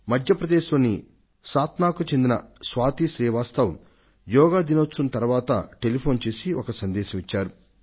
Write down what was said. మధ్య ప్రదేశ్ లోని సాత్నాకు చెందిన స్వాతి శ్రీవాస్తవ్ యోగా దినం తరువాత టెలిఫోన్ కాల్ చేసి ఒక సందేశాన్ని ఇచ్చారు